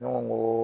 Ne ko